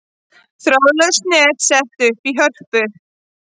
Þráðlaust net sett upp í Hörpu